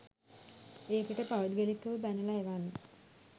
ඒකට පෞද්ගලිකව බැනලා එවන්න.